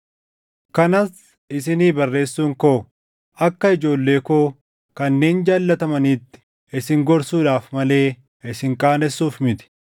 Kanas isinii barreessuun koo akka ijoollee koo kanneen jaallatamaniitti isin gorsuudhaaf malee isin qaanessuuf miti.